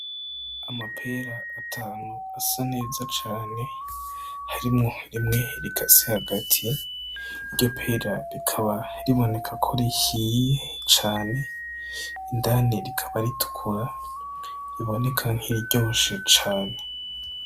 Amapera atanu asa neza cane, harimwo rimwe rikasemwo hagati iryo pera rikaba riboneka ko rihiye cane indani rikaba ritukura riboneka nkiriryoshe cane.